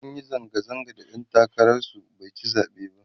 sunyi zanga zanga da ɗan takarar su baici zaɓe ba